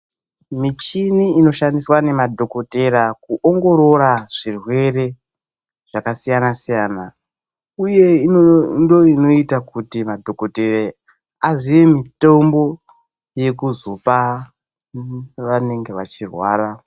Michini inoshandiswa nemadhokotera kuongorora zvirwere zvakasiyana siyana uye ndiyo inoita kuti madhokotera aziye mitombo yekuzopa vanenge vachirwara.